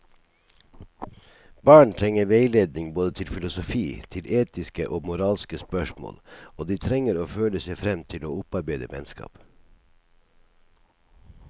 Barn trenger veiledning både til filosofi, til etiske og moralske spørsmål, og de trenger å føle seg frem til å opparbeide vennskap.